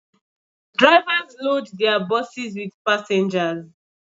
Drivers load their buses with passengers